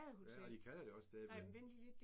Ja og de kalder det også stadig derinde